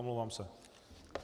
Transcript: Omlouvám se.